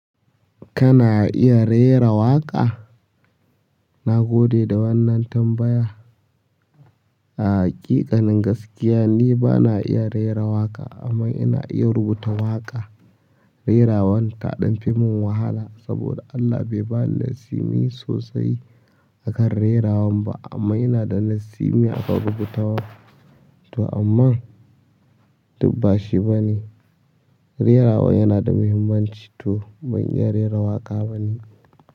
Kana iya rera waƙa? Na gode da wannan tambaya. A haƙiƙanin gaskiya ni bana iya rera waƙa amma ina iya rubuta waƙa. Rera waƙa ta ɗan fimin wahala saboda Allah bai bani laisimi sosai a kan rera waƙa ba amma yana da laisimi a kan rubutawa. To amma, duk bashi bane. Rera wa yana da muhimmanci to ban iya rera waƙa bane.